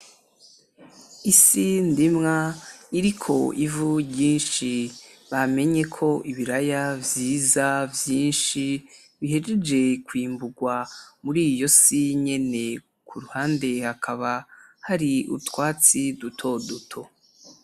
isi ndimwa iriko ivu ryishi bamenyeko ibiraya vyiza ,vyishi bihejeje kwimburwa muriyo si nyene kuruhande hakaba hari utwatsi duto duto .